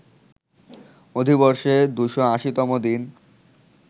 অধিবর্ষে ২৮০ তম দিন